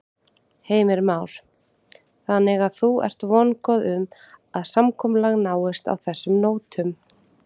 Heimir Már: Þannig að þú ert vongóð um að samkomulag náist á þessum nótum?